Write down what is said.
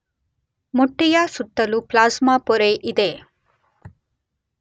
ಮೊಟ್ಟೆಯ ಸುತ್ತಲೂ ಪ್ಲಾಸ್ಮಾ ಪೊರೆ ಇದೆ.